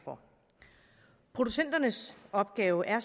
producenternes opgave er